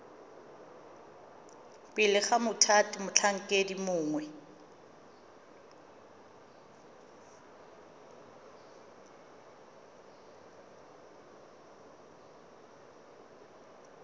pele ga mothati motlhankedi mongwe